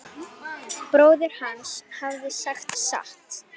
Bróðir hans hafði sagt satt.